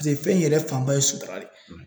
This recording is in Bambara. fɛn in yɛrɛ fanba ye sutara de ye